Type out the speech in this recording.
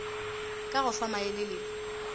ka go fa maele le